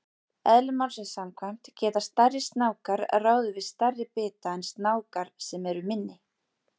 Eðli málsins samkvæmt geta stærri snákar ráðið við stærri bita en snákar sem eru minni.